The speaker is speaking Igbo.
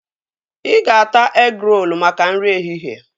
Ị ga-ata egịrolu maka nri ehihie